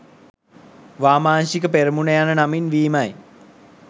වාමාංශික පෙරමුණ යන නමින් වීමයි